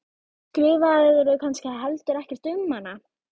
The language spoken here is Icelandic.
Skrifaðirðu kannski heldur ekkert um hana?